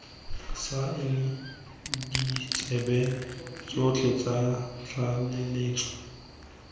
saena ditsebe tsotlhe tsa tlaleletso